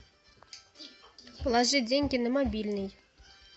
положи деньги на мобильный